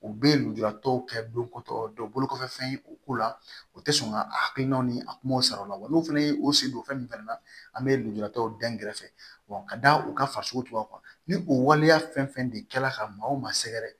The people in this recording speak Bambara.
U bɛ lujuratɔw kɛ don ko tɔ bolokɔfɛfɛn ye o ko la o tɛ sɔn ka a hakilinaw ni a kumaw sara o la wa n'u fana ye o sen don fɛn min fana na an bɛ lujuratɔw dagɛrɛ fɛ ka da u ka fariso taw kan ni o waleya fɛn fɛn de kɛla ka maaw ma sɛgɛrɛ